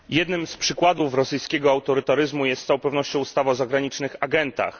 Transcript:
Jednym z przykładów rosyjskiego autorytaryzmu jest z całą pewnością ustawa o zagranicznych agentach.